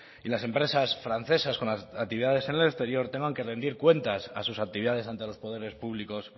y las empresas francesas con actividades en el exterior tengan que rendir cuentas a sus actividades ante los poderes públicos